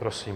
Prosím.